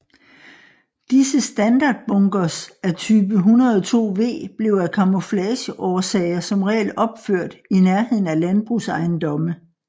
Disse standardbunkers af type 102V blev af camouflageårsager som regel opført i nærheden af landbrugsejendomme